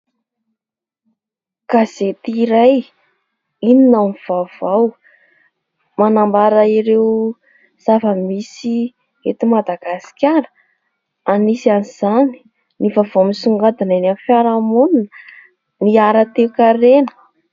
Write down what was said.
Gazety iray "inona no vaovao" manambara ireo zava-misy eto Madagasikara, anisan' izany ny vaovao misongadina eny amin'ny fiarahamonina, ny ara-toekarena.